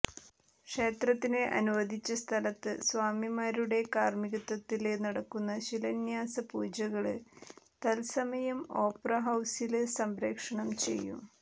ക്ഷേത്രത്തിന് അനുവദിച്ച സ്ഥലത്ത് സ്വാമിമാരുടെ കാര്മികത്വത്തില് നടക്കുന്ന ശിലാന്യാസ പൂജകള് തല്സമയം ഓപ്പറ ഹൌസില് സംപ്രേഷണം ചെയ്യും